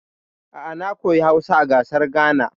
A'a, na koya Hausa a ƙasar Ghana.